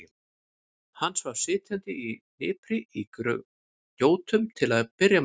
Hann svaf sitjandi í hnipri í gjótum til að byrja með.